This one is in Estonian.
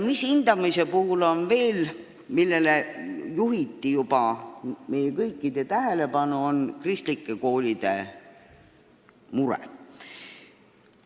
Mis hindamisse veel puutub, siis meie kõikide tähelepanu juba juhiti kristlike koolide murele.